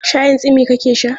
Shayin tsimi ka ke sha?